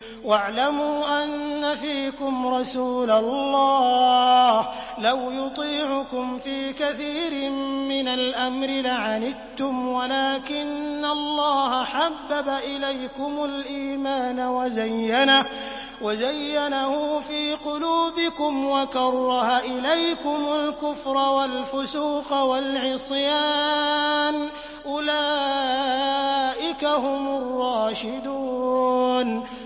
وَاعْلَمُوا أَنَّ فِيكُمْ رَسُولَ اللَّهِ ۚ لَوْ يُطِيعُكُمْ فِي كَثِيرٍ مِّنَ الْأَمْرِ لَعَنِتُّمْ وَلَٰكِنَّ اللَّهَ حَبَّبَ إِلَيْكُمُ الْإِيمَانَ وَزَيَّنَهُ فِي قُلُوبِكُمْ وَكَرَّهَ إِلَيْكُمُ الْكُفْرَ وَالْفُسُوقَ وَالْعِصْيَانَ ۚ أُولَٰئِكَ هُمُ الرَّاشِدُونَ